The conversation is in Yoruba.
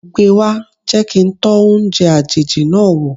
Gbe wá, jẹ́ kí n tọ́ oúnjẹ àjèjì náà wò.